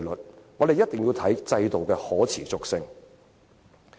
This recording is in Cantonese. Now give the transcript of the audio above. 因此，我們必須考慮制度的可持續性。